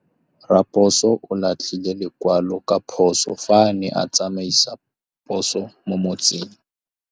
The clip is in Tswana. Raposo o latlhie lekwalô ka phosô fa a ne a tsamaisa poso mo motseng.